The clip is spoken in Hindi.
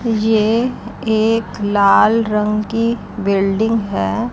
ये एक लाल रंग की बिल्डिंग हैं।